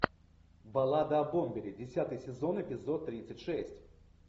баллада о бомбере десятый сезон эпизод тридцать шесть